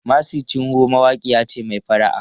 Mercy Chinwo mawaƙiya ce mai fara'a.